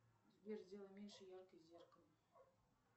сбер сделай меньше яркость зеркала